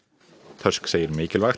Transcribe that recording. tusk segir mikilvægt